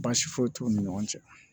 Baasi foyi t'u ni ɲɔgɔn cɛ